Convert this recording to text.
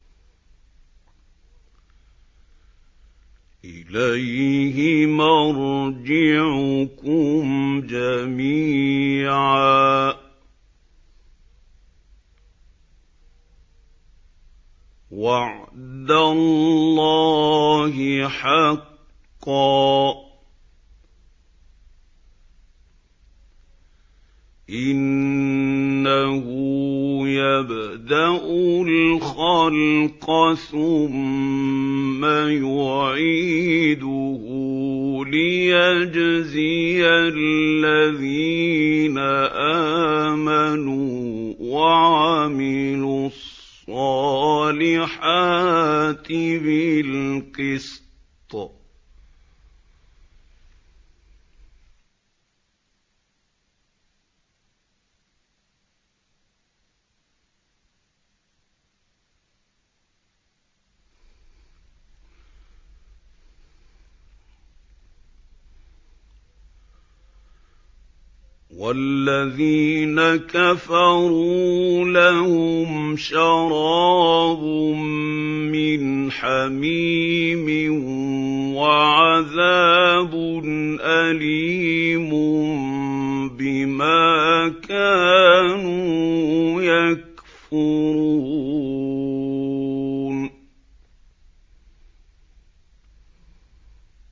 إِلَيْهِ مَرْجِعُكُمْ جَمِيعًا ۖ وَعْدَ اللَّهِ حَقًّا ۚ إِنَّهُ يَبْدَأُ الْخَلْقَ ثُمَّ يُعِيدُهُ لِيَجْزِيَ الَّذِينَ آمَنُوا وَعَمِلُوا الصَّالِحَاتِ بِالْقِسْطِ ۚ وَالَّذِينَ كَفَرُوا لَهُمْ شَرَابٌ مِّنْ حَمِيمٍ وَعَذَابٌ أَلِيمٌ بِمَا كَانُوا يَكْفُرُونَ